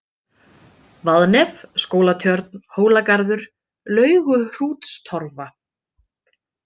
Vaðnef, Skólatjörn, Hólagarður, Lauguhrútstorfa